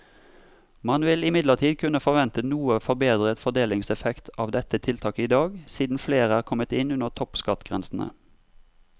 Man vil imidlertid kunne forvente noe forbedret fordelingseffekt av dette tiltaket i dag, siden flere er kommet inn under toppskattgrensene.